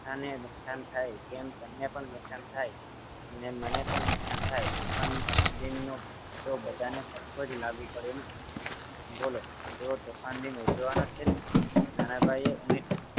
સંસ્થાને નુકસાન થાય તેમ તમને પણ નુકસાન થાય મને પણ નુકસાન થાય તોફાન દિનનો તો બધાને સરખો જ લાગુ પડે ને બોલો તોફાન દિન ઉજવવાનો છે ને નાના ભાઈએ ઉમેર્યુ